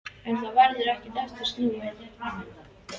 En það verður ekki aftur snúið.